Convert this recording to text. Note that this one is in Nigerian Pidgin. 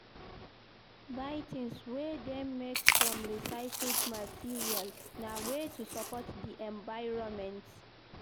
Buy tins wey dem make from recycled material, na way to support di environment.